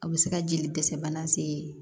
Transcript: A bɛ se ka jeli dɛsɛ bana se